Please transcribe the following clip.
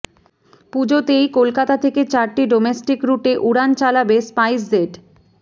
পুজোতেই কলকাতা থেকে চারটি ডোমেস্টিক রুটে উড়ান চালাবে স্পাইসজেট